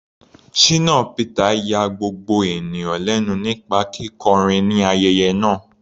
Shina Peter ya gbogbo ènìyàn lẹ́nu nípa kíkọrin ní ayẹyẹ náà.